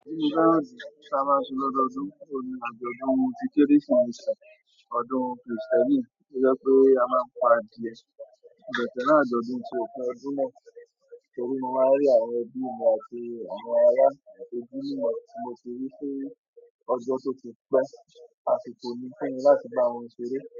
Ti mo fẹ́ràn ju ta máa ń ṣe lọ́odọdún, o ni àjọ̀dún ti kérésìmesì ọdún Kristẹni. Ó jẹ́ pé a máa ń pa adìẹ ní ọ̀sẹ̀ náà, àjọ̀dún ti ọdún náà torí mo máa ń rí àwọn ẹbí mi àti àwọn ará ẹbí mi tí mo ti rí sí ọjọ́ tó ti pẹ́, àsìkò ní fún mi láti bá wọn ṣeré.